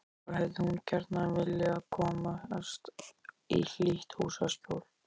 Þá hefði hún gjarna viljað komast í hlýtt húsaskjól.